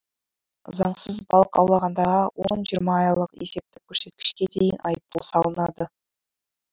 заңсыз балық аулағандарға он жиырма айлық есептік көрсеткішке дейін айыппұл салынады